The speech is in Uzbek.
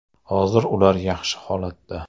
Hozir ular yaxshi holatda.